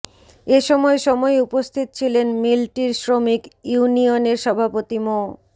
এ সময় সময় উপস্থিত ছিলেন মিলটির শ্রমিক ইউনিয়নের সভাপতি মো